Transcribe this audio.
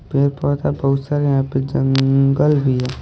पेड़ पौधा बहुत सा यहां पे जंगल भी है।